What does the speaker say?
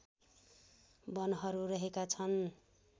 वनहरू रहेका छन्